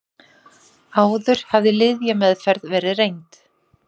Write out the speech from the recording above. Áður hafði lyfjameðferð verið reynd